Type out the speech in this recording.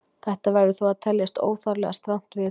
Þetta verður þó að teljast óþarflega strangt viðhorf.